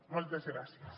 moltes gràcies